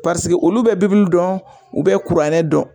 Paseke olu bɛ dɔn u bɛ kuranɛ dɔn